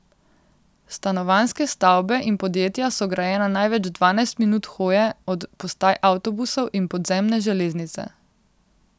Stanovanjske stavbe in podjetja so grajena največ dvanajst minut hoje od postaj avtobusov in podzemne železnice.